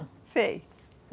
sei